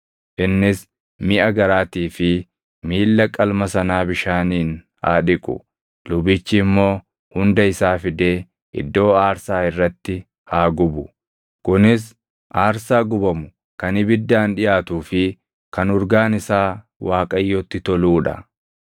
Innis miʼa garaatii fi miilla qalma sanaa bishaaniin haa dhiqu; lubichi immoo hunda isaa fidee iddoo aarsaa irratti haa gubu. Kunis aarsaa gubamu kan ibiddaan dhiʼaatuu fi kan urgaan isaa Waaqayyotti toluu dha.